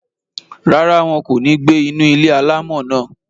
Rárá, wọn kò ní gbé inú ilé-alámọ̀ náà